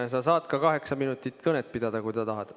Ja sa saad ka kaheksa minutit kõnet pidada, kui sa tahad.